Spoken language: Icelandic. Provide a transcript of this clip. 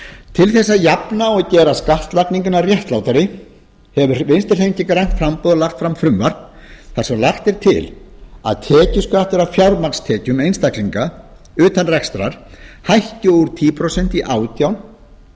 til þess að jafna og gera skattlagninguna réttlátari hefur vinstri hreyfingin grænt framboð lagt fram frumvarp þar sem lagt er til að tekjuskattur af fjármagnstekjum einstaklinga utan rekstrar hækki úr tíu prósent í átján